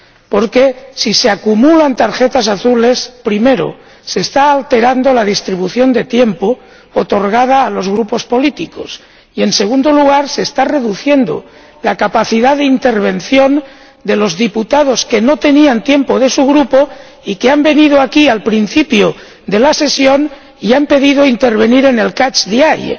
Porque, si se acumulan tarjetas azules, primero, se está alterando la distribución de tiempo otorgada a los grupos políticos y, segundo, se está reduciendo la capacidad de intervención de los diputados que no tenían tiempo de su Grupo y que han venido aquí al principio de la sesión y han pedido intervenir en el catch the eye.